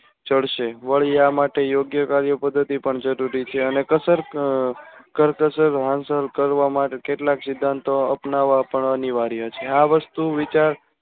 ચડશે વળી આ માટે યોગ્ય કાર્ય પદ્ધતિ પણ જરૂરી છે. અને કસર કરકસર હાંસિલ કરવા માટે કેટલાક સિધ્ધાંતો અપનાવા પણ અનિવાર્ય છે. આ વસ્તુ વિચાર